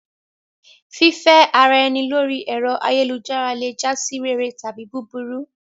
Fífẹ́ ara ẹni lórí ẹ̀rọ ayélujára le jásí rere tàbí búburú.